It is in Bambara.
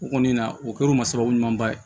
U kɔni na u kɛr'u ma sababu ɲumanba ye